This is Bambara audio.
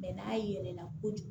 Mɛ n'a yɛlɛla kojugu